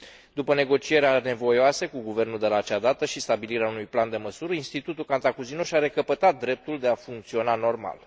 După negocieri anevoioase cu guvernul de la acea dată și stabilirea unui plan de măsuri, Institutul Cantacuzino și a recăpătat dreptul de a funcționa normal.